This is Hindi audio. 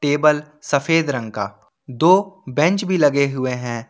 टेबल सफेद रंग का दो बेंच भी लगे हुए हैं।